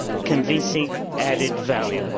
convincing added value.